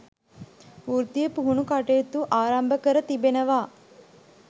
වෘත්තීය පුහුණු කටයුතු ආරම්භ කර තිබෙනවා